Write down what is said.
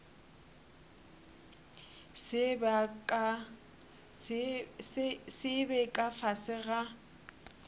se be ka fase ga